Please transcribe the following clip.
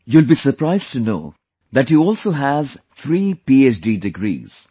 You will be surprised to know that he also has three PhD degrees